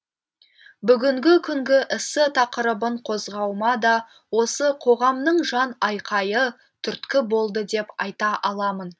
бүгінгі күнгі эссе тақырыбын қозғауыма да осы қоғамның жан айқайы түрткі болды деп айта аламын